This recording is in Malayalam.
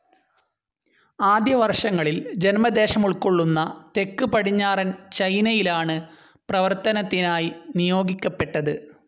ആദ്യ വർഷങ്ങിൽ ജന്മദേശമുൾക്കൊള്ളുന്ന തെക്ക് പടിഞ്ഞാറൻ ചൈനയിലാണ് പ്രവർത്തനത്തിനായി നിയോഗിക്കപ്പെട്ടത്.